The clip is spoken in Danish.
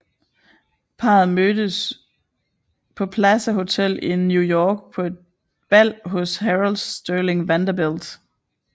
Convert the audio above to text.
Parret mødtes på Plaza Hotel i New York på et bal hos Harold Stirling Vanderbilt